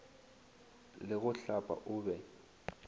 le go hlapa o be